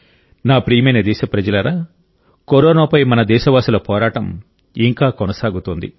నా ప్రియమైన దేశప్రజలారా కరోనాపై మన దేశవాసుల పోరాటం ఇంకా కొనసాగుతోంది